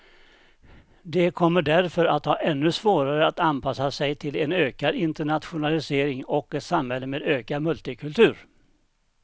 De kommer därför att ha ännu svårare att anpassa sig till en ökad internationalisering och ett samhälle med ökad multikultur.